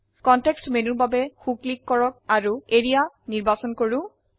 context মেনুৰ বাবে সো ক্লিক কৰক আৰু এৰিয়া নিৰ্বাচন কৰক